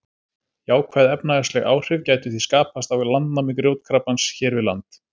Jákvæð efnahagsleg áhrif gætu því skapast af landnámi grjótkrabbans hér við land.